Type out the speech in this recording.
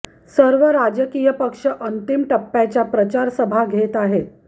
सर्व राजकीय पक्ष अंतिम टप्प्याच्या प्रचार सभा घेत आहेत